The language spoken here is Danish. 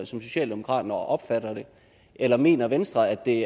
socialdemokratiet opfatter det eller mener venstre at det